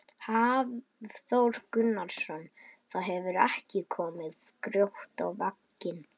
Hafþór Gunnarsson: Það hefur ekki komið grjót á vagninn?